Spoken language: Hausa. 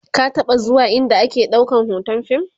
ka taɓa be zuwa ind ake ɗaukan hoton fim?